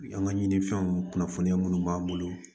An ka ɲinifɛnw kunnafoniya minnu b'an bolo